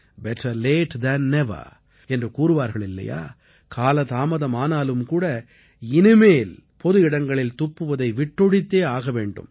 better late than never என்று கூறுவார்களில்லையா கால தாமதமானாலும்கூட இனிமேல் பொதுவிடங்களில் துப்புவதை விட்டொழித்தே ஆக வேண்டும்